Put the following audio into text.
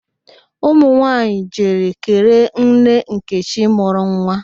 Ụmụ nwaanyị jere kelee nne nkechi mụrụ nwa